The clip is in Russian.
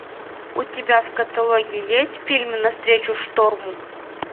у тебя в каталоге есть фильм навстречу шторму